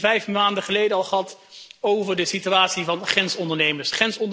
Ik heb het hier vijf maanden geleden al gehad over de situatie van grensondernemers.